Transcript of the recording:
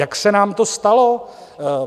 Jak se nám to stalo?